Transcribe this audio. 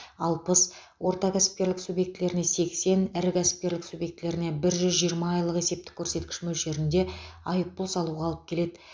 алпыс орта кәсіпкерлік субъектілеріне сексен ірі кәсіпкерлік субъектілеріне бір жүз жиырма айлық есептік көрсеткіш мөлшерінде айыппұл салуға алып келеді